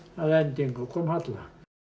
að endingu kom Halla